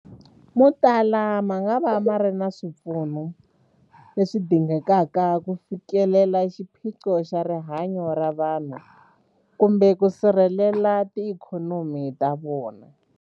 Motala mangava ma nga ri na swipfuno leswi dingekaka ku fikelela xiphiqo xa rihanyu ra vanhu kumbe ku sirhelela tiikhonomi ta vona.